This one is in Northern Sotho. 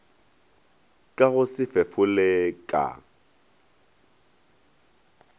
ka go se fefole ka